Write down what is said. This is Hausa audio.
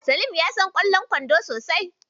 Salim yana son ƙwallon kwando sosai.